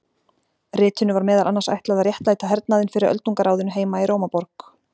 ritinu var meðal annars ætlað að réttlæta hernaðinn fyrir öldungaráðinu heima í rómaborg